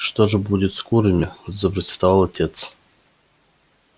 что же будет с курами запротестовал отец